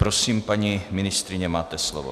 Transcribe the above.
Prosím, paní ministryně, máte slovo.